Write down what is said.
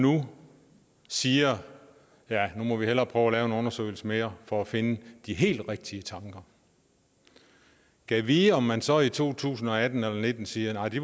nu siger at nu må vi hellere prøve at lave en undersøgelse mere for at finde de helt rigtige tanker gad vide om man så i to tusind og atten og nitten siger at nej de